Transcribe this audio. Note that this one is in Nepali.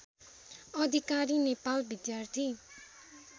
अधिकारी नेपाल विद्यार्थी